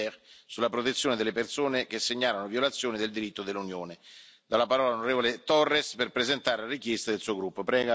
Rozière sulla protezione delle persone che segnalano violazioni del diritto dell'Unione. Do la parola all'on Torres per presentare la richiesta del suo gruppo.